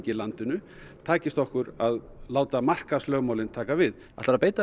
landinu takist okkur að láta markaðslögmálin taka við ætlarðu að beita